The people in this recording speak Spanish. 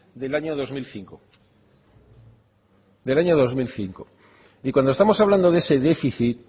del año dos mil cinco del año dos mil cinco y cuando estamos hablando de ese déficit